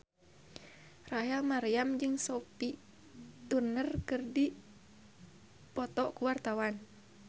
Rachel Maryam jeung Sophie Turner keur dipoto ku wartawan